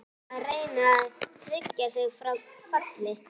Er félagið að reyna að tryggja sig frá falli?